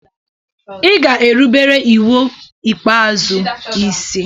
Ị ga erubere iwu ikpeazụ isi.